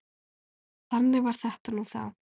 Þannig var þetta nú þá.